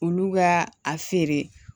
Olu ka a feere